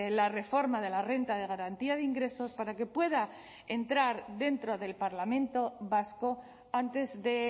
la reforma de la renta de garantía de ingresos para que pueda entrar dentro del parlamento vasco antes de